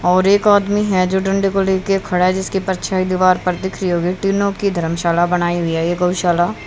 और एक आदमी है जो डंडे को ले के खड़ा है जिसके परछाई दीवार पर दिख रही होगी तीनों की धर्मशाला बनाई हुई है ये गौशाला--